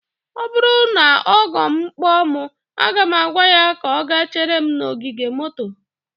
ọ bụrụ na ọgọ m kpọ mụ, aga m agwa ya ka ọ gaa chere m n'ogige moto